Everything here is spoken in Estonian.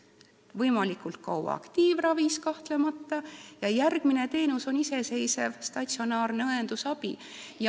Ta võiks olla võimalikult kaua aktiivravis, kahtlemata, ja järgmine teenus on iseseisev statsionaarne õendusabi.